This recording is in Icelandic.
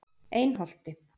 Einholti